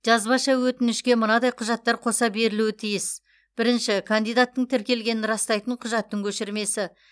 жазбаша өтінішке мынадай құжаттар қоса берілуге тиіс бірінші кандидаттың тіркелгенін растайтын құжаттың көшірмесі